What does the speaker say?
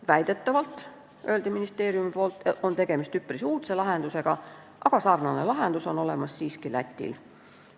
Väidetavalt, ministeeriumi sõnul, on tegemist üpris uudse lahendusega, aga sarnane lahendus on siiski Lätis olemas.